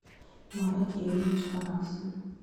марат юрьевич вараксин